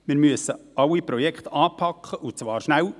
Wir müssen alle Projekte anpacken, und zwar schnell.